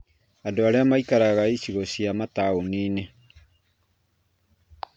Andũ arĩa maikaraga icigo cia mataũni-inĩ